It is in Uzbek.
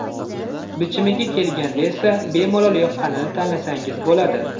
Bichimiga kelganda esa, bemalol yoqqanini tanlasangiz bo‘ladi.